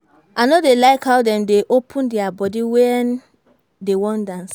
I no dey like how dem dey open their body wen dey wan dance